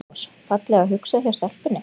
Magnús: Fallega hugsað hjá stelpunni?